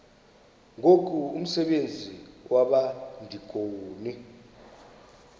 ngoku umsebenzi wabadikoni